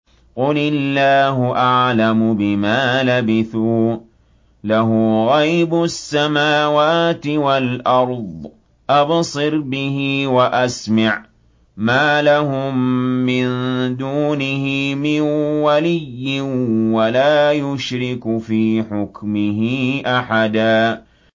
قُلِ اللَّهُ أَعْلَمُ بِمَا لَبِثُوا ۖ لَهُ غَيْبُ السَّمَاوَاتِ وَالْأَرْضِ ۖ أَبْصِرْ بِهِ وَأَسْمِعْ ۚ مَا لَهُم مِّن دُونِهِ مِن وَلِيٍّ وَلَا يُشْرِكُ فِي حُكْمِهِ أَحَدًا